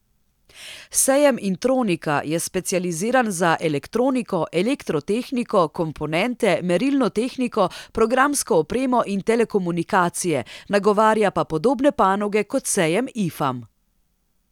Sejem Intronika je specializiran za elektroniko, elektrotehniko, komponente, merilno tehniko, programsko opremo in telekomunikacije, nagovarja pa podobne panoge kot sejem Ifam.